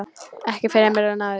Ekki fremur en áður.